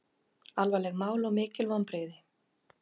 Alvarlegt mál og mikil vonbrigði